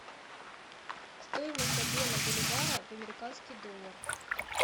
стоимость обмена боливара в американский доллар